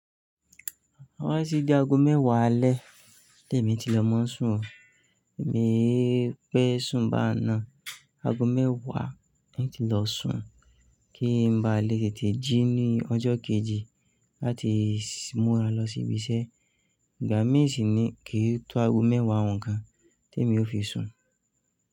Tó bá tí dí ago mẹ́wàá alẹ́, témi tí lè mọ́ ń sùn ó Èmi ì pẹ́ sùn bá ń náà, ago mẹ́wàá ni tí lọ sùn, kí n ba lè tètè jí ní ọjọ́ kejì láti múra lọ sí ibi iṣẹ́. Ìgbà mí ìṣíní kí n to ago mẹ́wàá òun gán tèmi ó fi sùn.